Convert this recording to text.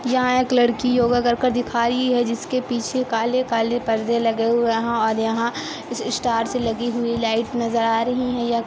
यहाँ एक लड़की योगा कर-कर दिखा रही हैं जिसके पीछे काले-काले पर्दे लगे हुए हैं और यहाँ इस स्टारस लगी हुई लाइट नज़र आ रही हैं या--